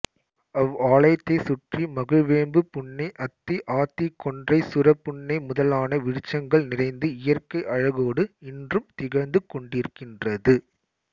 அவ் ஆலயத்தைச் சுற்றி மகிழ்வேம்புபுன்னை அத்திஆத்திகொன்றைசுரபுன்னை முதலான விருட்சங்கள் நிறைந்து இயற்கை அழகோடு இன்றும் திகழ்ந்து கொண்டிருக்கின்றது